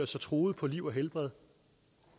sig truet på liv og helbred